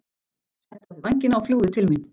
Settu á þig vængina og fljúgðu til mín.